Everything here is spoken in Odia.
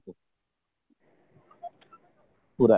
ପୁରା